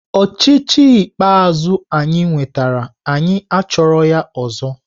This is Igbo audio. Ochịchị ikpeazụ anyị nwetara anyị achọghị ya ọzọ!